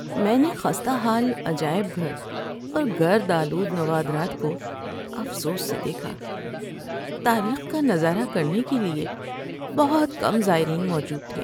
‏میں نے خستہ حال عجائب گھر اور گرد آلود نوادرات کو افسوس سے دیکھا۔ تاریخ کا نظارہ کرنے کے لیے بہت کم زائرین موجود تھے۔